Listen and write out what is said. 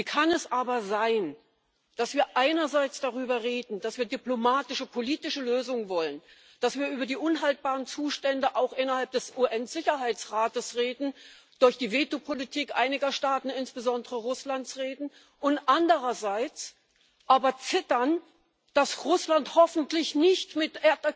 Wie kann es aber sein, dass wir einerseits darüber reden, dass wir diplomatische, politische Lösungen wollen, dass wir über die unhaltbaren Zustände auch innerhalb des UN-Sicherheitsrates durch die Vetopolitik einiger Staaten insbesondere Russlands reden, und andererseits aber zittern, dass Russland hoffentlich nicht mit